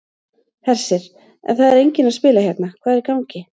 Hersir: En það er enginn að spila hérna, hvað er í gangi?